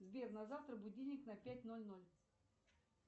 сбер на завтра будильник на пять ноль ноль